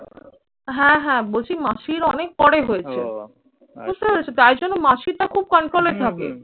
হ্যাঁ হ্যাঁ বলছি মাসির অনেক পরে হয়েছে। বুঝতে পেরেছো? তাই জন্য মাসিটা খুব control এ থাকে।